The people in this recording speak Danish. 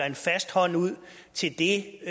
en fast hånd ud til det